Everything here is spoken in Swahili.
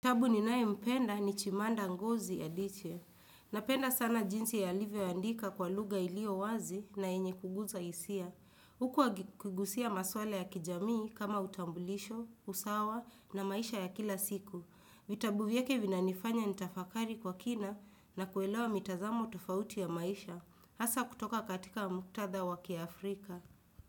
Ninayempenda ni Chimamanda ngozi Adichie. Ninapenda sana jinsi alivyoandika kwa lugha iliyo wazi na yenye kuguza hisia. Huku akigusia maswala ya kijamii kama utambulisho, usawa na maisha ya kila siku. Vitabu vyake vinanifanya nitafakari kwa kina na kuelewa mitazamo tofauti ya maisha. Hasa kutoka katika muktadha wa kiafrika.